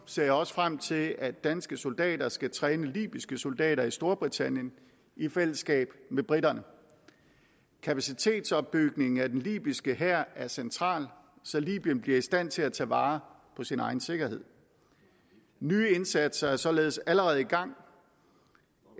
ser også frem til at danske soldater skal træne libyske soldater i storbritannien i fællesskab med briterne kapacitetsopbygning af den libyske hær er central så libyen bliver i stand til at tage vare på sin egen sikkerhed nye indsatser er således allerede i gang